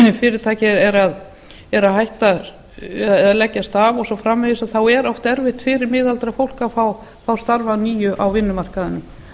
fyrirtæki er að leggjast af og svo framvegis er oft erfitt fyrir miðaldra fólk að fá starf að nýju á vinnumarkaðnum